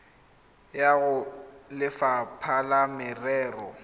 ya go lefapha la merero